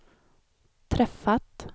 träffat